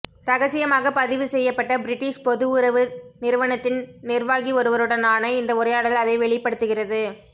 ரகசியமாக பதிவு செய்யப்பட்ட பிரிட்டிஷ் பொது உறவு நிறுவனத்தின் நிர்வாகி ஒருவருடனான இந்த உரையாடல் அதை வெளிப்படுத்துகிறது